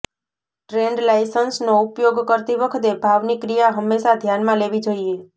ટ્રેન્ડલાઇન્સનો ઉપયોગ કરતી વખતે ભાવની ક્રિયા હંમેશા ધ્યાનમાં લેવી જોઈએ